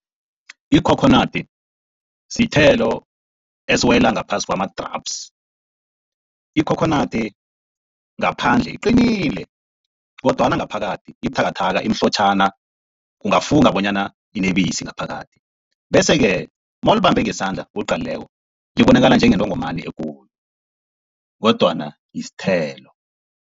Ikhokhonadi sithelo esiwela ngaphasi kwama-drups. Ikhokhonadi ngaphandle iqinile kodwana ngaphakathi ibuthakathaka, imhlotjhana ungafunga bonyana inebisi ngaphakathi. Bese-ke nawulibambe ngesandla uliqalileko libonakala njengentongomani ekulu kodwana sithelo.